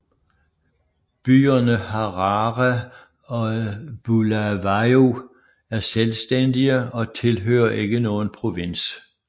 Byerne Harare og Bulawayo er selvstændige og tilhører ikke nogen provins